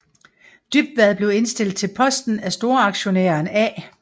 Dybvad blev indstillet til posten af storaktionæren A